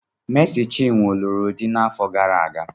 Mési chinwo lụrụ di n'afọ gara aga